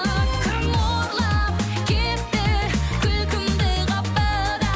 кім ұрлап кетті күлкімді қапыда